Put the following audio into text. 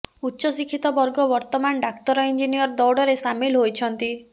ଉଚ୍ଚଶିକ୍ଷିତ ବର୍ଗ ବର୍ତ୍ତମାନ ଡାକ୍ତର ଇଂଜିନିୟର ଦୌଡ଼ରେ ସାମିଲ ହୋଇଛନ୍ତି